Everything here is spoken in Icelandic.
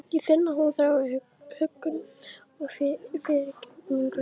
Ég finn að hún þráir huggun og fyrirgefningu.